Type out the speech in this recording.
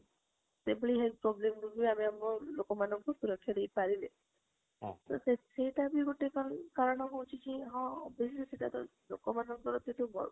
ସେଇ ଭଳି health problem ଋ ବି ଆମେ ଲୋକ ମନକୁ ସୁରକ୍ଷ ଦେଇ ପାରିଲେ ତ ସେଇଟା ବି ଗୋଟେ କାରଣ ହଉଛି ଯେ ହଁ obviously ସେଟା ଲୋକ ମାନଙ୍କ ସେଠୁ